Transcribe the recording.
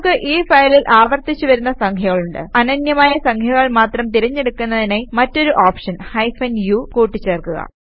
നമുക്ക് ഈ ഫയലിൽ ആവർത്തിച്ച് വരുന്ന സംഖ്യകളുണ്ട് അനന്യമായ സംഖ്യകൾ മാത്രം തിരഞ്ഞ് എടുക്കുന്നതിനായി മറ്റൊരു ഓപ്ഷൻ ഹൈഫൻ u കൂട്ടി ചേർക്കുക